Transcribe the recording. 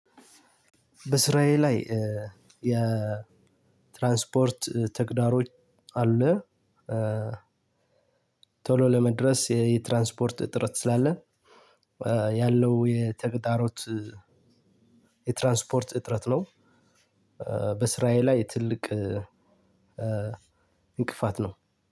በስራዬ ላይ የትራንስፖርት ተግዳሮች አለ። ቶሎ ለመድረስ የትራንስፖርት ጥረት ስላለ ያለው የተግዳሮት የትራንስፖርት እጥረት ነው። በስራዬ ላይ ትልቅ እንቅፋት ነው